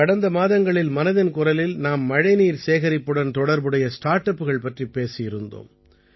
கடந்த மாதங்களில் மனதின் குரலில் நாம் மழைநீர் சேகரிப்புடன் தொடர்புடைய ஸ்டார்ட் அப்புகள் பற்றிப் பேசியிருந்தோம்